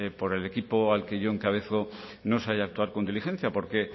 por el equipo al que yo encabezo no se haya actuar con diligencia porque